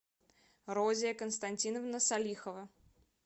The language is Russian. розия константиновна салихова